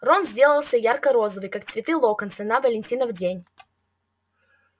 рон сделался ярко-розовый как цветы локонса на валентинов день